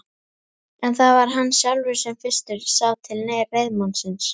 En það var hann sjálfur sem fyrstur sá til reiðmannsins.